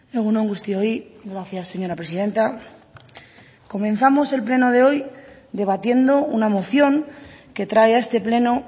egunon guztioi gracias señora presidenta comenzamos el pleno de hoy debatiendo una moción que trae a este pleno